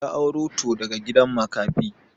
Ya auro to daga gidan makafi.